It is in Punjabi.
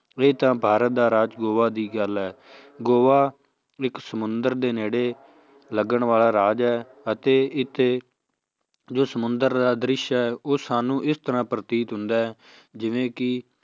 ਇਹ ਤਾਂ ਭਾਰਤ ਦਾ ਰਾਜ ਗੋਆ ਦੀ ਗੱਲ ਹੈ ਗੋਆ ਇੱਕ ਸਮੁੰਦਰ ਦੇ ਨੇੜੇ ਲੱਗਣ ਵਾਲਾ ਰਾਜ ਹੈ ਅਤੇ ਇੱਥੇ ਜੋ ਸਮੁੰਦਰ ਦਾ ਦ੍ਰਿਸ਼ ਹੈ ਉਹ ਸਾਨੂੰ ਇਸ ਤਰ੍ਹਾਂ ਪ੍ਰਤੀਤ ਹੁੰਦਾ ਹੈ ਜਿਵੇਂ ਕਿ